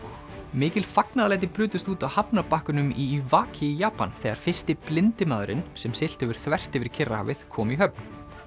mikil fagnaðarlæti brutust út á hafnarbakkanum í Iwaki í Japan þegar fyrsti blindi maðurinn sem siglt hefur þvert yfir Kyrrahafið kom í höfn